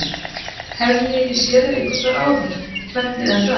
Hef ég ekki séð þig einhvers staðar áður, hvernig er það?